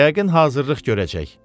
Yəqin hazırlıq görəcək.